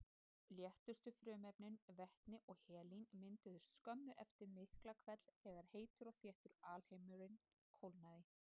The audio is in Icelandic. Léttustu frumefnin, vetni og helín, mynduðust skömmu eftir Miklahvell þegar heitur og þéttur alheimur kólnaði.